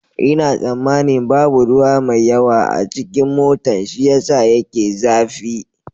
Ina tsammanin babu ruwa mai yawa a cikin motan shi ya sa yake zafi.